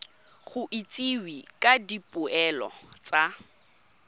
go itsisiwe ka dipoelo tsa